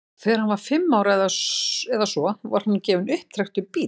þegar hann var fimm ára eða svo var honum gefinn upptrekktur bíll